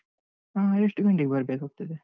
ಹಾ. ಎಷ್ಟು ಗಂಟೆಗ್ ಬರ್ಬೇಕಾಗ್ತದೆ?